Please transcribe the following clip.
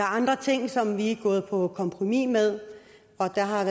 andre ting som vi er gået på kompromis med og der har